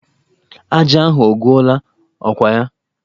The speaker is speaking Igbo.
Ajá ahụ agwụla, ọ kwa ya?